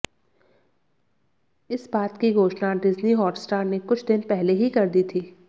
इस बात की घोषणा डिज्नी हॉटस्टार ने कुछ दिन पहले ही कर दी थी